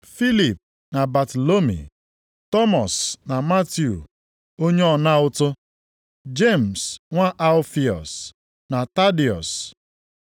Filip na Batalomi; Tọmọs na Matiu onye ọna ụtụ; Jemis nwa Alfiọs, na Tadiọs.